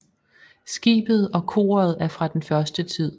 Skibet og koret er fra den første tid